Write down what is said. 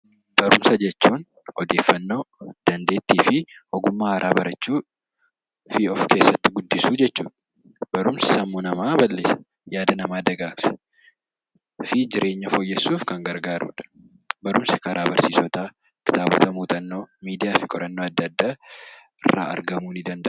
Barumsa jechuun odeeffanno, dandeettii fi ogummaa haaraa barachuu fi of keessatti guddisuu jechuudha. Barumsi sammuu namaa bal'isa, yaada namaa dagaagsa fi jireenya fooyyessuuf kan gargaaruudha. Barumsa karaa kitaabootaa, muuxannoo, miidiyaa fi qorannoo irraa argamuu danda'a.